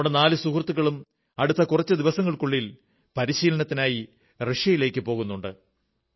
നമ്മുടെ നാലു സുഹൃത്തുക്കളും അടുത്ത കുറച്ചു ദിവസങ്ങൾക്കുള്ളിൽ പരിശീലനത്തിനായി റഷ്യയിലേക്കു പോകുന്നതാണ്